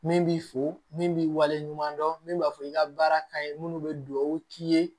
Min b'i fo min b'i wale ɲuman dɔn min b'a fɔ i ka baara ka ɲi minnu bɛ dugawu k'i ye